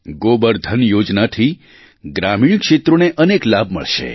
ગોબર ધન યોજનાથી ગ્રામીણ ક્ષેત્રોને અનેક લાભ મળશે